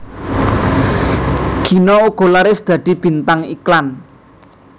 Gina uga laris dadi bintang iklan